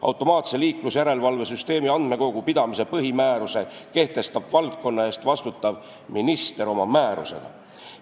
Automaatse liiklusjärelevalve süsteemi andmekogu pidamise põhimääruse kehtestab valdkonna eest vastutav minister oma määrusega.